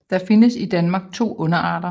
Der findes i Danmark to underarter